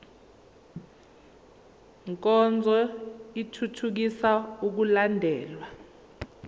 nkonzo ithuthukisa ukulandelwa